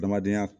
Adamadenya